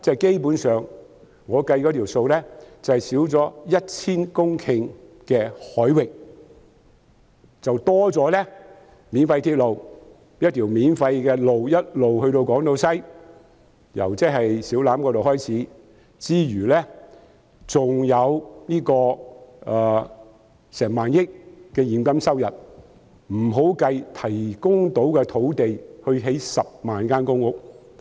基本上，我們失去了 1,000 公頃的海域，便會增加免費鐵路、由小欖直通港島西的免費公路，還有1萬億元現金收入，這尚未計算提供可興建10萬間公屋的土地。